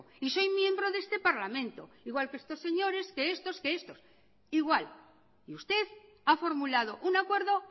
y soy miembro de este parlamento igual que estos señores que estos que estos igual y usted ha formulado un acuerdo